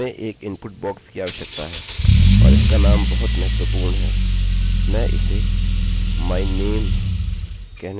हमें एक input box की आवश्यकता है और इसका नाम बहुत महत्वपूर्ण है